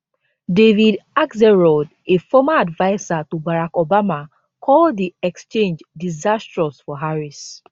david axelrod a former adviser to barack obama call di exchange diisastrous for harris